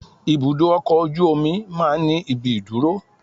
Ibùdó ọkọ̀ ojú omi máa ń ní ibi ìdúró